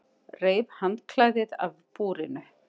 Reif handklæðið af búrinu.